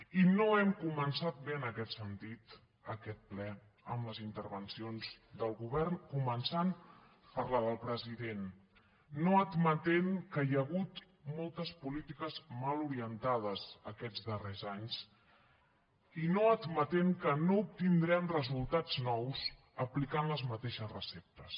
i no hem començat bé en aquest sentit aquest ple amb les intervencions del govern començant per la del president no admetent que hi ha hagut moltes polítiques mal orientades aquests darrers anys i no admetent que no obtindrem resultats nous aplicant les mateixes receptes